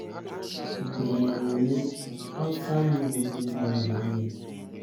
Ì KWENYEERE onye Hausa ahụ na - ede uri bụ́ Mohammad?